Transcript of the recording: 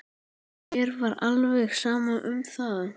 Mér var alveg sama um það.